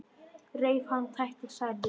Reif hana, tætti, særði.